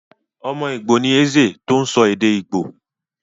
Ọmọ Ìgbò ni Eze tó sọ èdè Ìgbò.